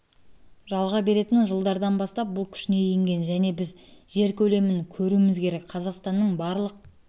жалға беретін жылдардан бастап бұл күшіне енген және біз жер көлемін көруіміз керек қазақстанның барлық